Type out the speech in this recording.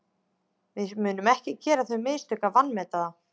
Við munum ekki gera þau mistök að vanmeta þá.